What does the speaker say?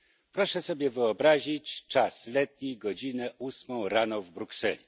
Proszę sobie wyobrazić czas letni, godzinę ósmą rano w Brukseli.